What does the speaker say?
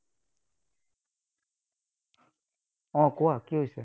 উম কোৱা, কি হৈছে?